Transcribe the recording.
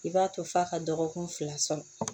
I b'a to f'a ka dɔgɔkun fila sɔrɔ